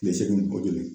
Tile segin kɔ tuguni